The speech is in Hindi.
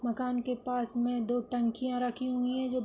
मकान के पास में दो टंकिया रखी हुई हैं जो --